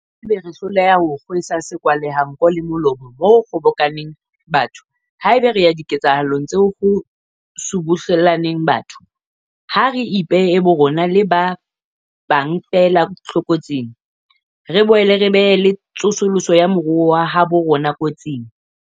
Haeba re hloleha ho kgwesa sekwahelanko le molomo moo ho kgobokaneng batho, haeba re ya diketsahalong tseo ho tsona ho subuhle llaneng batho, ha re ipee borona le ba bang feela tlokotsing, re boela re bea le tsosoloso ya moruo wa habo rona kotsing.